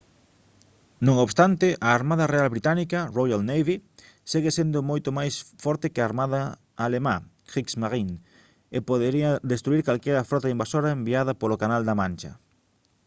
non obstante a armada real británica «royal navy» segue sendo moito máis forte que a armada alemá «kriegsmarine» e podería destruír calquera frota invasora enviada polo canal da mancha